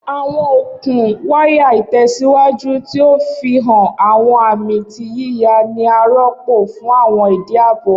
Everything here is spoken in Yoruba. Awọn okun waya itẹsiwaju, ti o nfihan awọn ami ti yiya, ni a rọpo fun awọn idi aabo.